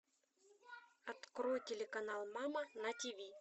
открой телеканал мама на тв